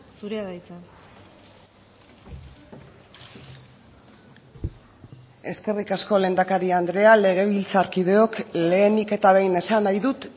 zurea da hitza eskerrik asko lehendakari andrea legebiltzarkideok lehenik eta behin esan nahi dut